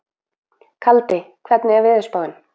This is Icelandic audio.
Kaldi, hvernig er veðurspáin?